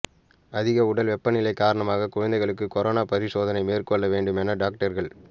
அதிக உடல் வெப்பநிலை காரணமாக குழந்தைக்கு கொரோனா பரிசோதனை மேற்கொள்ள வேண்டும் என டாக்டர்கள்